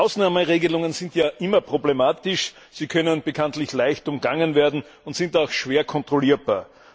Ausnahmeregelungen sind ja immer problematisch, sie können bekanntlich leicht umgangen werden und sind auch schwer kontrollierbar.